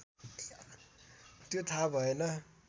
त्यो थाहा भएन